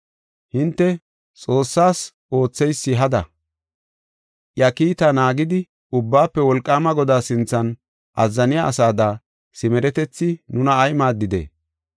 “Hinte, ‘Xoossas ootheysi hada; iya kiita naagidi, Ubbaafe Wolqaama Godaa sinthan azzaniya asada simeretethi nuna ay maaddidee?